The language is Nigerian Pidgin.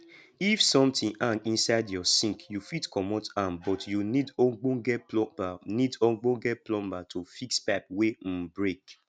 if something hang inside your sink you fit comot am but you need ogbonge plumber need ogbonge plumber to fix pipe wey um break